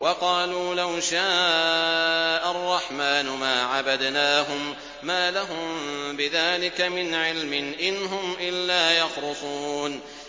وَقَالُوا لَوْ شَاءَ الرَّحْمَٰنُ مَا عَبَدْنَاهُم ۗ مَّا لَهُم بِذَٰلِكَ مِنْ عِلْمٍ ۖ إِنْ هُمْ إِلَّا يَخْرُصُونَ